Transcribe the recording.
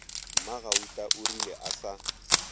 mmagauta o rile a sa